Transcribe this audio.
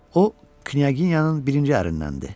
O, knyaginyanın birinci ərindəndir.